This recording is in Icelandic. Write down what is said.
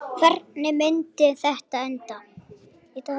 Hvernig myndi þetta enda?